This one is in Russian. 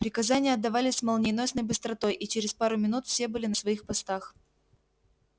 приказания отдавались с молниеносной быстротой и через пару минут все были на своих постах